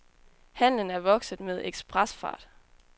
Handlen er vokset med ekspresfart.